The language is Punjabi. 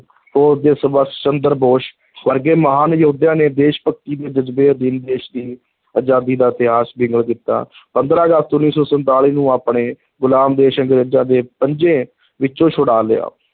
ਫ਼ੌਜ ਦੇ ਸੰਭਾਸ਼ ਚੰਦਰ ਬੋਸ ਵਰਗੇ ਮਹਾਨ ਯੋਧਿਆਂ ਨੇ ਦੇਸ਼-ਭਗਤੀ ਦੇ ਜ਼ਜਬੇ ਅਧੀਨ ਦੇਸ਼ ਦੀ ਅਜ਼ਾਦੀ ਦਾ ਇਤਿਹਾਸ ਬਿਗਲ ਕੀਤਾ ਪੰਦਰਾਂ ਅਗਸਤ, ਉੱਨੀ ਸੌ ਸੰਤਾਲੀ ਨੂੰ ਆਪਣੇ ਗੁਲਾਮ ਦੇਸ਼ ਅੰਗਰੇਜ਼ਾਂ ਦੇ ਪੰਜੇ ਵਿੱਚੋਂ ਛੁਡਾ ਲਿਆ।